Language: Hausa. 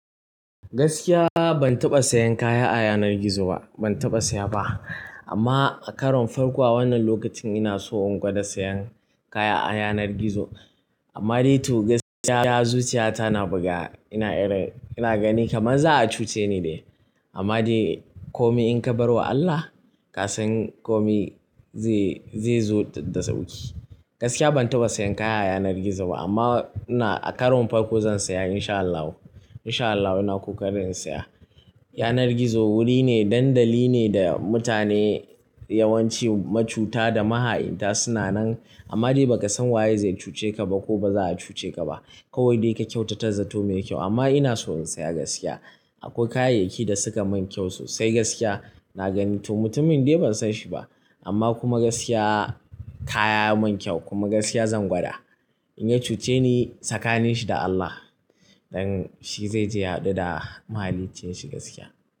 Gaskiya ban taɓa sayan kaya a yanar gizo ba, ban taɓa saya ba. Amma a karon farko a wannan lokacin ina so in gwada sayan kaya a yanar gizo. Amma dai to gaskiya zuciyata na buga. Ina irin, ina gani kamar za a cuce ni ne. Amma dai komi in ka bar wa Allah, kasan komi zai, zai zo da sauƙi. Gaskiya ban taɓa sayan kaya a yanar gizo ba amma ina, a karon farko zan saya in sha Allah. In sha Allah ina kokarin in saya. Yanar gizo wuri ne, dandali ne da mutane yawanci macuta da maha'inta suna nan. Amma dai ba ka san waye zai cuce ka ba ko ba za a cuce ka ba. Kowai dai ka kyautata zato mai kyau amma ina so in saya gaskiya. Akwai kayayyaki da suka mun kyau sosai gaskiya. Na gani to mutumin dai ban san shi ba. Amma kuma gaskiya kaya mun kyau kuma gaskiya zan gwada. In ya cuce ni, sakanin shi da Allah. Don shi zai je ya hadu da mahaliccin shi gaskiya.